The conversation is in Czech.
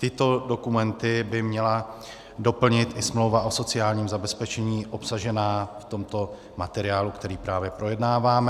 Tyto dokumenty by měla doplnit i smlouva o sociálním zabezpečení obsažená v tomto materiálu, který právě projednáváme.